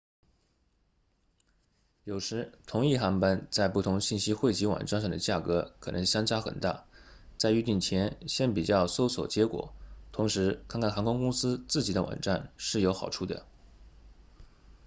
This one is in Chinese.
有时同一航班在不同信息汇集网站上的价格可能相差很大在预订前先比较搜索结果同时看看航空公司自己的网站是有好处的